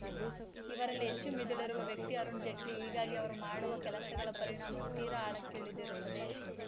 ಇವರಲ್ಲಿ ಹೆಚ್ಚು ಮಿದುಳಿರುವ ವ್ಯಕ್ತಿ ಅರುಣ ಜೇಟ್ಲಿ ಹೀಗಾಗಿ ಅವರು ಮಾಡುವ ಕೆಲಸಗಳ ಪರಿಣಾಮವೂ ತೀರಾ ಆಳಕ್ಕಿಳಿದಿರುತ್ತದೆ